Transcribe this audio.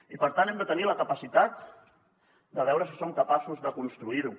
i per tant hem de tenir la capacitat de veure si som capaços de construir ho